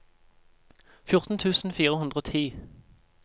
fjorten tusen fire hundre og ti